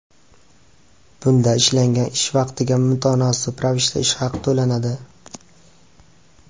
Bunda ishlangan ish vaqtiga mutanosib ravishda ish haqi to‘lanadi.